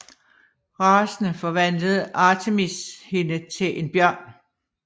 Rasende forvandlede Artemis hende til en bjørn